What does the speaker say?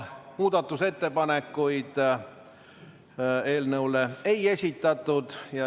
Muudatusettepanekuid eelnõu kohta ei esitatud.